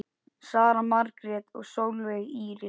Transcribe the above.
Sara Margrét og Sólveig Íris.